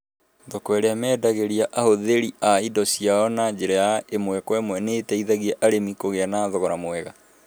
Thoko iria mendagiria ahũthĩri a indo ciao na njĩra ya ĩmwe kwa ĩmwe nĩ iteithagia arĩmi kũgĩa na thogora mwega.